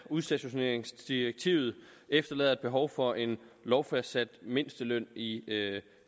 udstationeringsdirektivet efterlader et behov for en lovfastsat mindsteløn i